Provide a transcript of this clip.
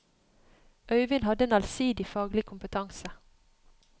Øivind hadde en allsidig faglig kompetanse.